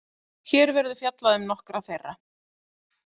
Hér verður fjallað um nokkra þeirra.